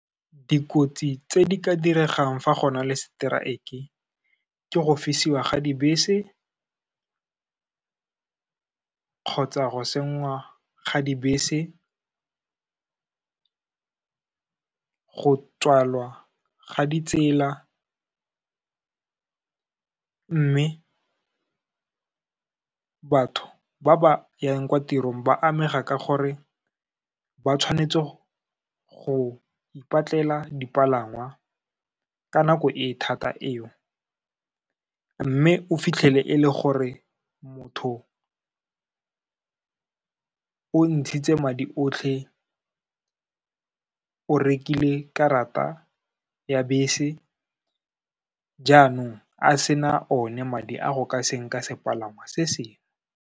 Dikotsi tse di ka diregang fa go na le strike-e ke go fisiwa ga dibese, kgotsa go senngwa ga dibese, go tswalwa ga di tsela. Mme, batho ba ba yang kwa tirong ba amega ka gore ba tshwanetse go ipatlela dipalangwa ka nako e thata eo, mme o fitlhele e le gore motho o ntshitse madi otlhe o rekile karata ya bese jaanong a sena one madi a go ka senka sepalangwa se sengwe.